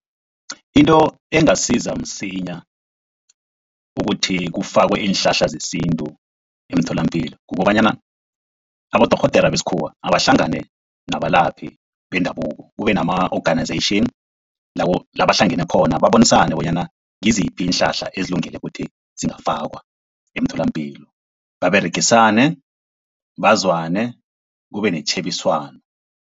Into engasiza msinya ukuthi kufakwe iinhlahla zesintu emtholapilo, kukobanyana abodorhodere besikhuwa abahlangane nabalaphi bendabuko kube nama-organization la bahlangene khona, babonisane bonyana ngiziphi iinhlahla ezilungele ukuthi zingafakwa emtholapilo baberegisane bazwane kube netjhebiswano.